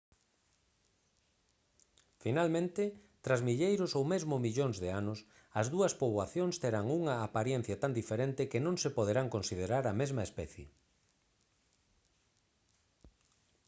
finalmente tras milleiros ou mesmo millóns de anos as dúas poboacións terán unha aparencia tan diferente que non se poderán considerar a mesma especie